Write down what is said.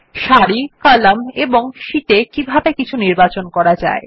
সারি কলাম এবং শীটে কিভাবে কিছু নির্বাচন করা যায়